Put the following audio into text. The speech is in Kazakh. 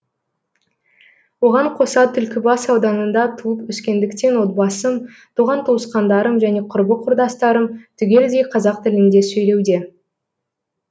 оған қоса түлкібас ауданында туып өскендіктен отбасым туған туысқандарым және құрбы құрдастарым түгелдей қазақ тілінде сөйлеуде